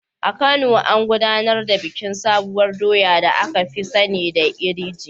A Kano, an gudanar da bikin sabuwar doya da aka fi sani da iri ji.